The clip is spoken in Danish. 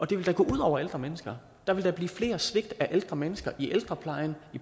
det vil da gå ud over ældre mennesker der vil da blive flere svigt af ældre mennesker i ældreplejen